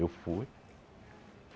Eu fui.